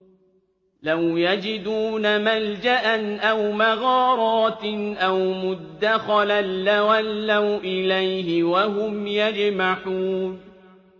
لَوْ يَجِدُونَ مَلْجَأً أَوْ مَغَارَاتٍ أَوْ مُدَّخَلًا لَّوَلَّوْا إِلَيْهِ وَهُمْ يَجْمَحُونَ